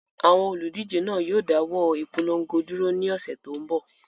Àwọn olùdíje náà yóò dáwọ́ ìpolongo dúró ní ọ̀sẹ̀ tó ń bọ̀.